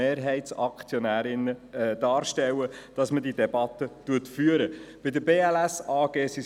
Dies bedeutet, dass unter Umständen morgen Abend bereits die POM an der Reihe ist.